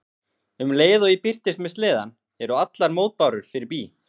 Um leið og ég birtist með sleðann eru allar mótbárur fyrir bí.